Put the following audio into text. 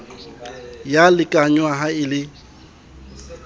ya lekanngwa ha e le